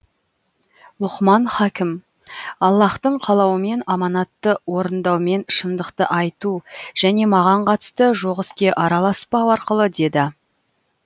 лұқман хакім аллаһтың қалауымен аманатты орындаумен шындықты айту және маған қатысы жоқ іске араласпау арқылы деді